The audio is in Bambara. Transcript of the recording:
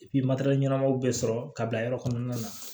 materɛli ɲɛnɛmaw bɛ sɔrɔ ka bila yɔrɔ kɔnɔna na